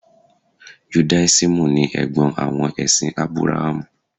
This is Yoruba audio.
Judáísímù ni Ẹ̀gbọ́n àwọn ẹ̀sìn Ábúráhámù.